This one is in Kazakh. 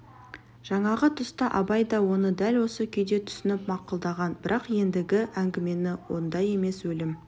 жаңағы тұста абай да оны дәл осы күйде түсініп мақұлдаған бірақ ендігі әңгіме онда емес өлім